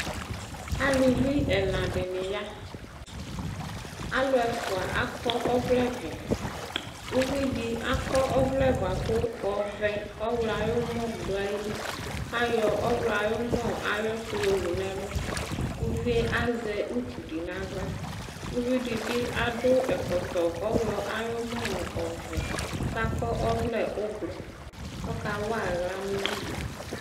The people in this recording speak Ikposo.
Aluvi ɛna dɩnɩ ya Alʋ ɛfʋa akɔ ɔvlɛvɛ Uvi dɩ akɔ ɔvlɛ bʋa kʋ ɔvɛ ɔɣlɔ ayʋ ʋmɔ dʋ ayili Kʋ ayɔ ɔɣlɔ ayʋ ʋmɔ ayʋ ɛkʋ yɔwu nʋ ɛlʋ Uvi yɛ azɛ utu dɩ nʋ aɣla Uvi dɩ bɩ adʋ ɛkɔtɔ ɔɣlɔ ayʋ ʋmɔ nʋ ɔvɛ kʋ akɔ ɔvlɛ ʋblɔ kʋ ɔkawa aɣla nʋ uvi dɩ